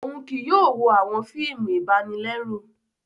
Òún kìí yóò wo awọn fíìmù ibanilẹru